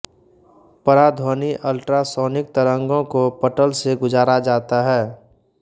पराध्वनि ultrasonic तरंगों को पटल से गुजारा जाता है